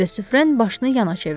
De Süfren başını yana çevirdi.